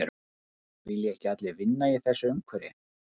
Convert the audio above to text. Vilja ekki vinna í þessu umhverfi